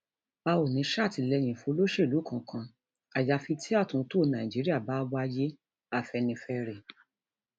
a ò ní í sàtìlẹyìn woluṣelú kankan àyàfi tí àtúntò nàíjíríà bá wáyé afẹnifẹre